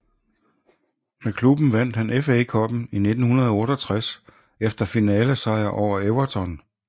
Med klubben vandt han FA Cuppen i 1968 efter finalesejr over Everton